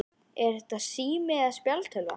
Er þetta sími eða spjaldtölva?